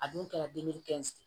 A dun kɛra